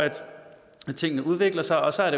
tingene udvikler sig og så er